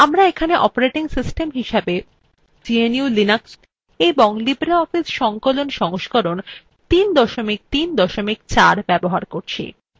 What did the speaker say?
এখানে আমরা operating system হিসেবে gnu/linux এবং libreoffice সংকলনwe সংস্করণ ৩ ৩ ৪ ব্যবহার করছি